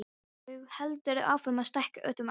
Þú heldur áfram að stækka út um allt.